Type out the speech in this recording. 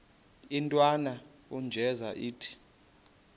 intwana unjeza ithi